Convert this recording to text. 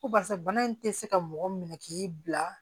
Ko barisa bana in tɛ se ka mɔgɔ minɛ k'i bila